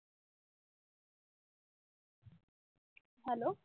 Hello.